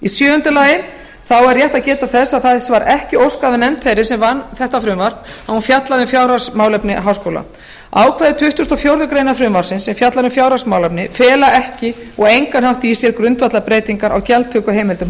sjöunda þá er rétt að geta þess að þess var ekki óskað af nefnd þeirra sem vann þetta frumvarp að hún fjallaði um fjárhagsmálefni háskóla ákvæði tuttugasta og fjórðu grein frumvarpsins sem fjallar um fjárhagsmálefni fela ekki og á engan hátt í sér grundvallarbreytingar á gjaldtökuheimildum